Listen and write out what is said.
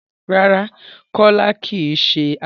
Rárá, Kọ́lá kì í ṣe akẹ́kọ̀ọ́.